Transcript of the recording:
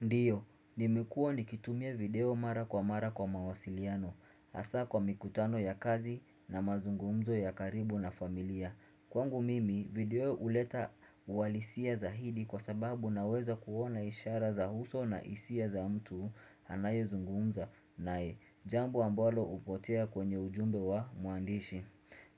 Ndio, nimekua nikitumia video mara kwa mara kwa mawasiliano. Hasa kwa mikutano ya kazi na mazungumzo ya karibu na familia. Kwangu mimi, video huleta uhalisia zaidi kwa sababu unaweza kuona ishara za uso na hisia za mtu anaye zungumza nae. Jambu ambalo hupotea kwenye ujumbe wa mwandishi.